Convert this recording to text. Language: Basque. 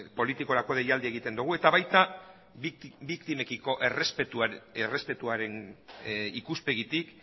politikorako deialdia egiten dugu eta baita biktimekiko errespetuaren ikuspegitik